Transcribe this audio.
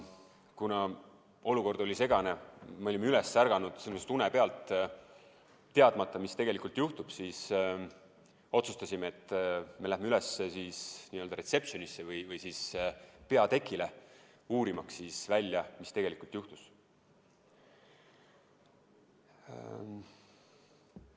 Kuna olukord oli segane, me olime une pealt üles ärganud ja teadmata, mis tegelikult juhtub, otsustasime, et me lähme üles reception'isse või peatekile, uurimaks välja, mis tegelikult juhtus.